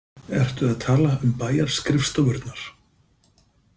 Ertu að tala um bæjarskrifstofurnar?